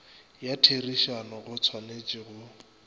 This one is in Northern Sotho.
ya therišano go tshwanetše go